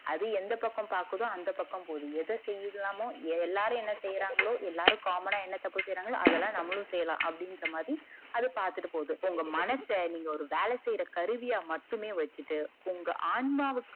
அது எந்த பக்கம் பாக்குதோ அது அந்த பக்கம் பாக்குது எத செய்யலாமோ எல்லாரும் என்ன செய்யறாங்களோ எல்லாரும் common ஆ என்ன தப்பு செய்யறாங்களோ அதலாம் நம்மளும் செய்யலாம் அப்டிங்கர மாதிரி அது பாத்துட்டு போது உங்க மனச நீங்க ஒரு ஒரு வேல செய்யற கருவியா மட்டுமே வச்சிட்டு உங்க ஆன்மாவுக்கு